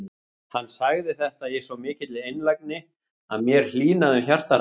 Hann sagði þetta í svo mikilli einlægni að mér hlýnaði um hjartarætur.